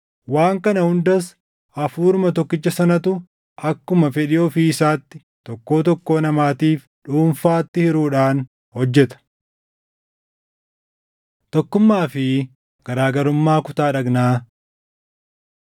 Waan kana hundas Hafuuruma tokkicha sanatu akkuma fedhii ofii isaatti tokkoo tokkoo namaatiif dhuunfaatti hiruudhaan hojjeta. Tokkummaa fi garaa garummaa Kutaa Dhagnaa